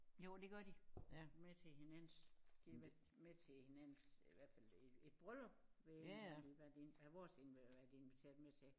Jo det gør de med til hinandens de har været med til hinandens i hvert fald et et bryllup været i hvert fald vores har de været inviteret til